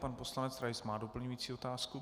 Pan poslanec Rais má doplňující otázku.